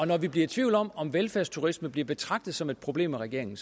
når vi bliver tvivl om om velfærdsturisme bliver betragtet som et problem af regeringen